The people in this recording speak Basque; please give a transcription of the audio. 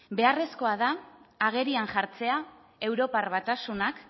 beharrezkoa da agerian jartzea europar batasunak